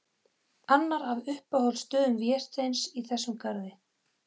Annar af uppáhaldsstöðum Vésteins í þessum garði.